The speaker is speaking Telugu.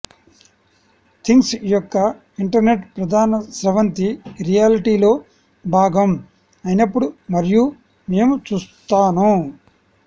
థింగ్స్ యొక్క ఇంటర్నెట్ ప్రధాన స్రవంతి రియాలిటీలో భాగం అయినప్పుడు మరియు మేము చూస్తాను